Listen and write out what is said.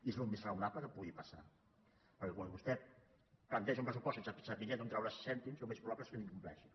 i és el més raonable que pugui passar perquè quan vostè planteja un pressupost sense saber d’on traurà els cèntims el més probable és que l’incompleixi